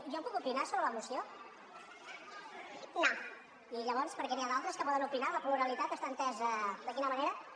jo puc opinar sobre la moció i llavors per què n’hi ha d’altres que poden opinar la pluralitat està entesa de quina manera d’acord